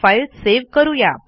file save करू या